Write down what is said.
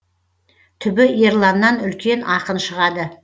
түбі ерланнан үлкен ақын шығады